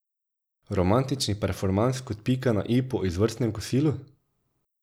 Romantični performans kot pika na i po izvrstnem kosilu?